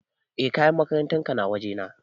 E kayan makarantar ka na waje na